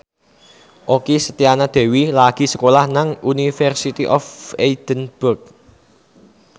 Okky Setiana Dewi lagi sekolah nang University of Edinburgh